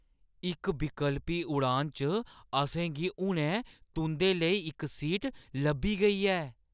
इक विकल्पी उड़ान च असेंगी हुनै तुंʼदे लेई इक सीट लब्भी गेई ऐ ।